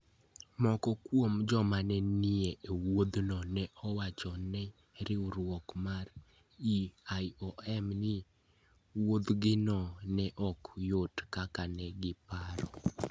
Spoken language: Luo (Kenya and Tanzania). Moko kuom joma ne nie wuodhno ne owacho ne riwruok mar IOM ni wuodhgino ne ok yot kaka ne giparo: